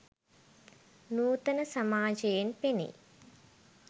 නූතන සමාජයෙන් පෙනෙයි.